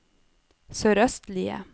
sørøstlige